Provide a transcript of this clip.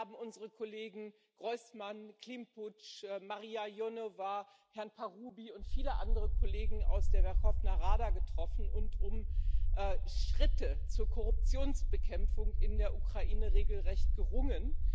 Wir haben unsere Kollegen Hrojsman, Klympusch, Marija Ionowa, Herrn Parubij und viele andere Kollegen aus der Werchowna Rada getroffen und um Schritte zur Korruptionsbekämpfung in der Ukraine regelrecht gerungen.